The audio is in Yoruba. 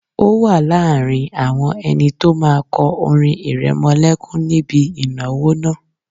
O wà láàrin àwọn ẹni tó máa kọ orin ìrẹmọlẹ́kún níbi ìnáwó náà